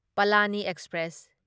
Palani express